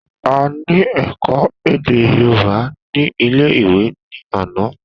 A ní èkó èdè yorùbá ní ilé ìwé ní àná